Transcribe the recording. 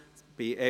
Ja / Oui Nein /